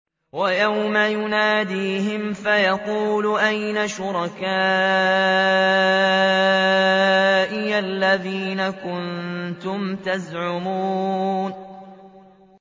وَيَوْمَ يُنَادِيهِمْ فَيَقُولُ أَيْنَ شُرَكَائِيَ الَّذِينَ كُنتُمْ تَزْعُمُونَ